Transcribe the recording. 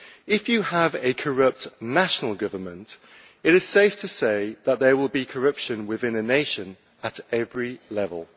If you have a corrupt national government it is safe to say that there will be corruption within a nation at every level.